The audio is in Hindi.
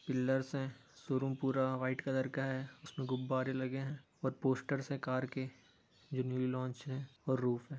पिल्लर्स हैं शोरूम पूरा वाइट कलर का है| गुब्बारे लगे हैं और पोस्टर्स हैं कार के जो न्यू लॉन्च हैं और रूफ है|